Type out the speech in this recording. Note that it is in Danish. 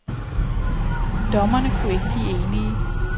Dommerne kunne ikke blive enige.